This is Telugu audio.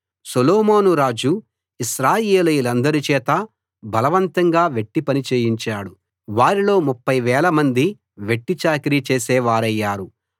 సొలొమోను రాజు ఇశ్రాయేలీయులందరి చేతా బలవంతంగా వెట్టి పని చేయించాడు వారిలో 30000 మంది వెట్టి చాకిరీ చేసే వారయ్యారు